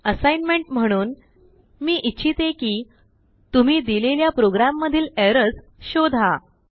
assignment म्हणून मी इच्छिते कितुम्ही दिलेल्या प्रोग्राममधीलएरर्सशोधा